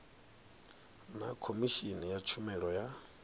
na khomishini ya tshumelo ya